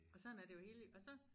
Og sådan er det jo hele livet og så